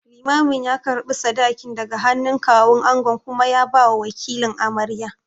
Limamin ya karɓi sadakin daga hannun Kawun angon kuma ya bawa wakilin amaryar.